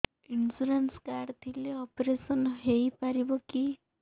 insurance card ଥିଲେ operation ହେଇପାରିବ କି